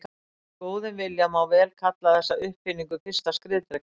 Með góðum vilja má vel kalla þessa uppfinningu fyrsta skriðdrekann.